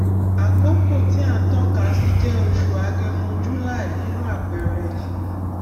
àkókò tí à ń tọkasí jẹ oṣù agẹmọjuly nínu àpẹẹrẹ yìí